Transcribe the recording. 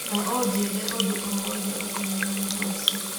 Na ũnjĩĩre ũndũ o wothe ũkoniĩ ũhoro ũcio.